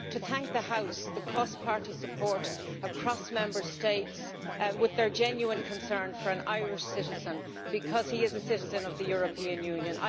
I rise to thank the House for the cross party support across Member States with their genuine concern for an Irish citizen, because he is a citizen of the European Union.